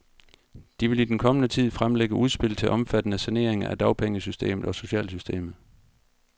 De vil i den kommende tid fremlægge udspil til omfattende saneringer af dagpengesystemet og socialsystemet.